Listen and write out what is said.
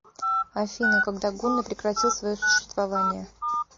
афина когда гунны прекратил свое существование